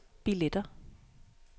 billetter